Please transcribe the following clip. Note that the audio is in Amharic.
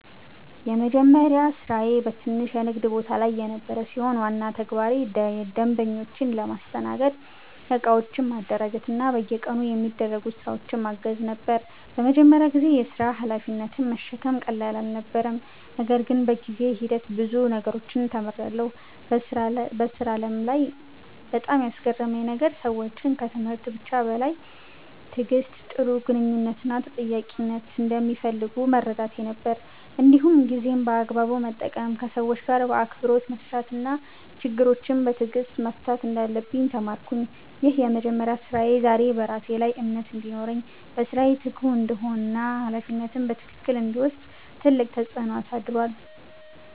የመጀመሪያ ስራዬ በትንሽ የንግድ ቦታ ላይ የነበረ ሲሆን፣ ዋና ተግባሬ ደንበኞችን ማስተናገድ፣ እቃዎችን ማደራጀት እና በየቀኑ የሚደረጉ ስራዎችን ማገዝ ነበር። በመጀመሪያ ጊዜ የሥራ ሀላፊነትን መሸከም ቀላል አልነበረም፣ ነገር ግን በጊዜ ሂደት ብዙ ነገሮችን ተምሬያለሁ። በሥራ ዓለም ላይ በጣም ያስገረመኝ ነገር ሰዎች ከትምህርት ብቻ በላይ ትዕግሥት፣ ጥሩ ግንኙነት እና ተጠያቂነትን እንደሚፈልጉ መረዳቴ ነበር። እንዲሁም ጊዜን በአግባቡ መጠቀም፣ ከሰዎች ጋር በአክብሮት መስራት እና ችግሮችን በትዕግሥት መፍታት እንዳለብኝ ተማርኩ። ይህ የመጀመሪያ ስራዬ ዛሬ በራሴ ላይ እምነት እንዲኖረኝ፣ በስራዬ ትጉ እንድሆን እና ሀላፊነትን በትክክል እንድወስድ ትልቅ ተጽዕኖ አሳድሯል።